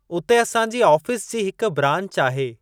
उते असांजी आफीस जी हिक ब्रांच आहे।